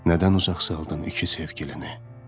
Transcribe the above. Nədən uzaq saldın iki sevgilini?